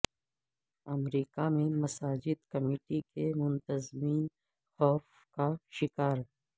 امریکہ میں مساجد کمیٹی کے منتظمین خوف کا شکار